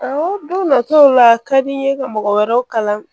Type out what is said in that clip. Awɔ don nataw la a ka di n ye ka mɔgɔ wɛrɛw kalan